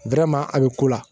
a bɛ ko la